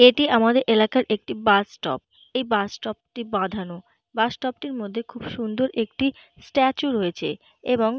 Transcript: এটি আমাদের এলাকার একটি বাস স্টপ । এই বাস স্টপ টি বাঁধানো। বাস স্টপ টির মধ্যে খুব সুন্দর একটি স্ট্যাচু রয়েছে এবং।